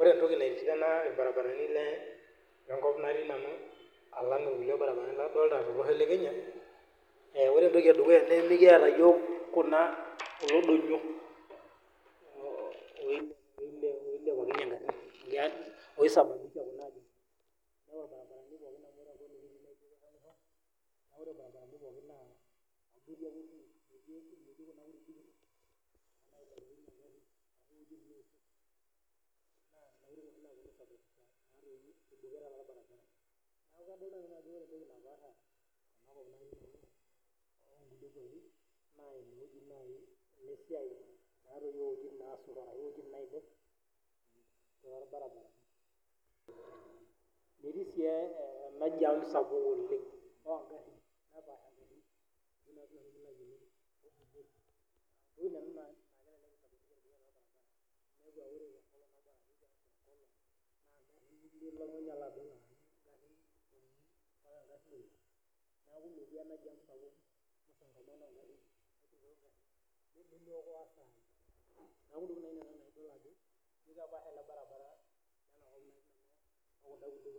Ore etoki naitsidana irbaribarani le kop natii nanu alang irkulie barabarani ladolita to losho le Kenya ore etoki edukuya naa: Mikiata yiook kuna kulo donyio oisababisha ..................kepaasha